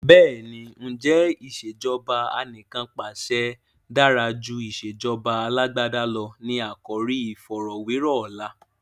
Bẹ́ẹ̀ni, "ǹjẹ́ ìsèjọba anìkanpàṣẹ dára jù ìsèjọba Alàgbàda lọ? " ni àkòrí iìfọ̀rọ̀wẹ́rọ̀ ọ̀la.